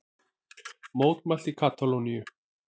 Mótmælt í Katalóníu